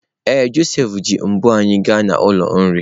Ee, Josef ji mbo anyị gaa n'ụlọ nri.